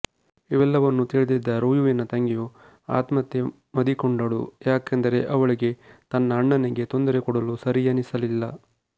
ಇವೆಲ್ಲವನ್ನು ತಿಳ್ಳಿದ್ದ ರುಯುವಿನ ತಂಗಿಯು ಆತ್ಮಹತ್ಯೆ ಮದಿಕೊಂಡಳು ಯಾಕೆಂದರೆ ಅವಳಿಗೆ ತನ್ನ ಅಣ್ಣನಿಗೆ ತೊಂದರೆ ಕೊಡಲು ಸರಿಯನಿಸಲಿಲ್ಲ